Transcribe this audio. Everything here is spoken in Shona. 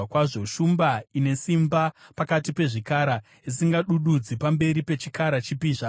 shumba, ine simba pakati pezvikara, isingadududzi pamberi pechikara chipi zvacho;